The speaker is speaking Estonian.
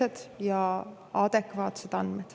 Need on adekvaatsed andmed.